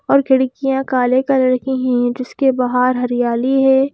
और खिड़कियां काले कलर की हैं जिसके बाहर हरियाली है।